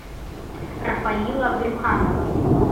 рафаила брюханова